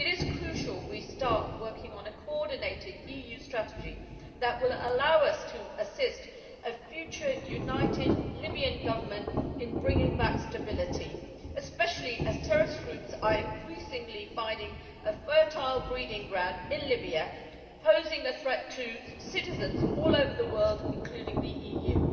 It is crucial that we start working on a coordinated EU strategy that will allow us to assist a future united Libyan Government in bringing back stability, especially as terrorist groups are increasingly finding a fertile breeding ground in Libya, posing a threat to citizens all over the world, including the EU.